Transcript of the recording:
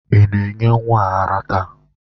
Ị na-enye nwa ara taa?